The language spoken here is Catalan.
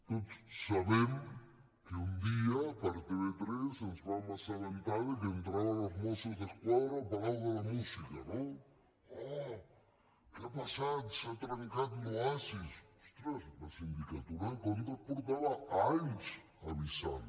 tots sabem que un dia per tv3 ens vam assabentar de que entraven els mossos d’esquadra al palau de la música no oh què ha passat s’ha trencat l’oasi ostres la sindicatura de comptes feia anys que avisava